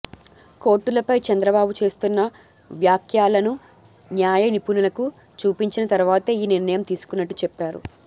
కోర్టులపై చంద్రబాబు చేస్తున్న వ్యాఖ్యలను న్యాయనిపుణులకు చూపించిన తర్వాతే ఈ నిర్ణయం తీసుకున్నట్టు చెప్పారు